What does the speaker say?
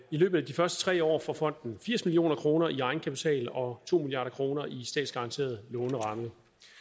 løbet af de første tre år får fonden firs million kroner i egenkapital og to milliard kroner i statsgaranteret låneramme